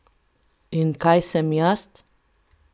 In kaj sem jaz?